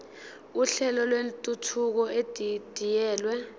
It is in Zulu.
uhlelo lwentuthuko edidiyelwe